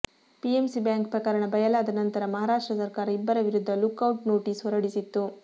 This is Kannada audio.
ಪಿಎಂಸಿ ಬ್ಯಾಂಕ್ ಪ್ರಕರಣ ಬಯಲಾದ ನಂತರ ಮಹಾರಾಷ್ಟ್ರ ಸರಕಾರ ಇಬ್ಬರ ವಿರುದ್ಧ ಲುಕ್ ಔಟ್ ನೋಟಿಸ್ ಹೊರಡಿಸಿತ್ತು